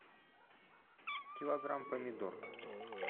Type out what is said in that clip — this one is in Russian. килограмм помидор